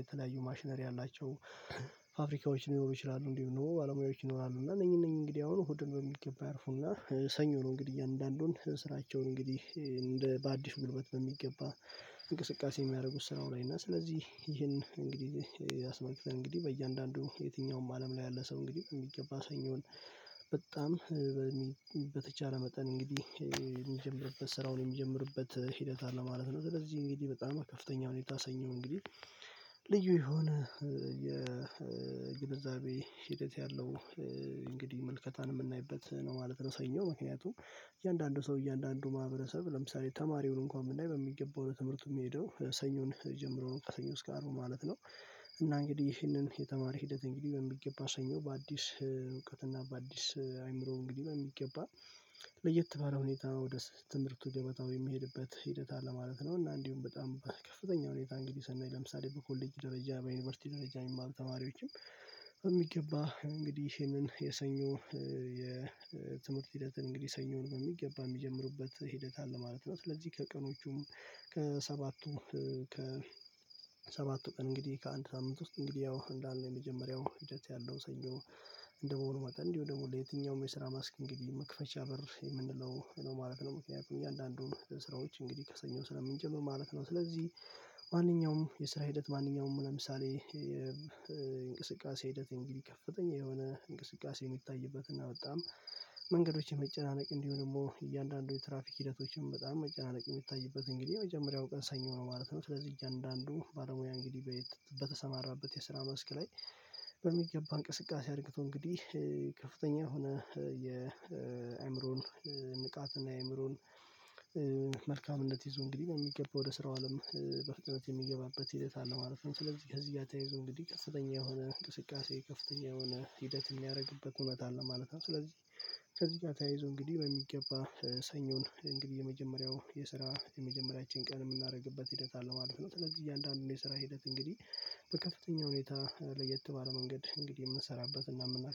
የተለያዩ ማሽነሪ ያላቸው ፋብሪካዎች ሊኖሩ ይችላሉ። እንዲሁ ኖሮ ባለሙያዎች ይኖራሉ እና እነኚህ እነኚህ እንግዲህ አሁን እሁድን በሚገባ ያርፉና ሰኞ ነው። እንግዲህ እያንዳንዱን ስራቸውን እንግዲህ እንደ በአዲስ ጉልበት በሚገባ እንቅስቃሴ የሚያደርጉት ስራው ላይ እና ስለዚህ ይህን እንግዲህ አስመልክተን እንግዲህ በእያንዳንዱ የትኛውም አለም ላይ ያለ ሰው እንግዲህ በሚገባ ሰኞን በጣም በተቻለ መጠን እንግዲህ የሚጀምርበት ስራውን የሚጀምርበት ሂደት አለ ማለት ነው። ስለዚህ እንግዲህ በጣም ከፍተኛ ሁኔታ ሰኞ እንግዲህ ልዩ የሆነ የግንዛቤ ሂደት ያለው እንግዲህ መልከታን የምናይበት ነው። ማለት ሰኞ ምክንያቱም እያንዳንዱ ሰው እያንዳንዱ ማህበረሰብ ለምሳሌ ተማሪውን እንኳን ብናይ በሚገባው ለትምህርቱ የሚሄደው ሰኞን ጀምሮ ነው ከሰኞ እስከ አርብ ማለት ነው። እና እንግዲህ ይህንን የተማሪ ሂደት እንግዲህ በሚገባ ሰኞ በአዲስ እውቀት እና በአዲስ አይምሮ እንግዲህ በሚገባ ለየት ባለ ሁኔታ ወደ ትምህርቱ ገበታው የሚሄድበት ሂደት አለ ማለት ነው። እና እንዲሁም በጣም ከፍተኛ ሁኔታ እንግዲህ ሰናይ ለምሳሌ በኮሌጅ ደረጃ በዩኒቨርሲቲ ደረጃ የሚማሩ ተማሪዎችም በሚገባ እንግዲህ ይሄንን የሰኞ የትምህርት ሂደትን እንግዲህ ሰኞን በሚገባ የሚጀምርበት ሂደት አለ ማለት ነው። ስለዚህ ከቀኖቹም ከሰባቱ ቀን እንግዲህ ከአንድ ሳምንት ውስጥ እንግዲህ ያው እንዳልነው የመጀመሪያው ሂደት ያለው ሰኞ እንደመሆኑ መጠን እንዲሁ ደግሞ ለየትኛውም የስራ መስክ እንግዲህ መክፈቻ በር የምንለው ማለት ነው። ምክንያቱም እያንዳንዱን ስራዎች እንግዲህ ከሰኞ ስለምንጀምር ማለት ነው። ስለዚህ ማንኛውም የስራ ሂደት ማንኛውም ለምሳሌ የእንቅስቃሴ ሂደት እንግዲህ ከፍተኛ የሆነ እንቅስቃሴ የምታይበትና በጣም መንገዶችን መጨናነቅ እንዲሁ ደግሞ እያንዳንዱ የትራፊክ ሂደቶችን በጣም መጨናነቅ የሚታይበት እንግዲህ የመጀመሪያው ቀን ሰኞ ነው ማለት ነው። ስለዚህ እያንዳንዱ ባለሙያ እንግዲህ በተሰማራበት የስራ መስክ ላይ በሚገባ እንቅስቃሴ አድርገው እንግዲህ ከፍተኛ የሆነ የአእምሮን ንቃት እና የአእምሮን መልካምነት ይዞ እንግዲህ በሚገባው ወደ ስራው አለም በፍጥነት የሚገባበት ሂደት አለ ማለት ነው። ስለዚህ ከዚህ ጋር ተያይዞ እንግዲህ ከፍተኛ የሆነ እንቅስቃሴ ከፍተኛ የሆነ ሂደት የሚያደርግበት ሁኔታ አለ ማለት ነው። ስለዚህ ከዚህ ጋር ተያይዞ እንግዲህ በሚገባ ሰኞን እንግዲህ የመጀመሪያው የስራ የመጀመሪያችን ቀን የምናደርግበት ሂደት አለ ማለት ነው። ስለዚህ እያንዳንዱን የስራ ሂደት እንግዲህ በከፍተኛ ሁኔታ ለየት ባለ መንገድ እንግዲህ የምንሰራበት እና የምናደርገው